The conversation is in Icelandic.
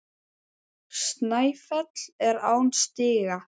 Snæfell er án stiga.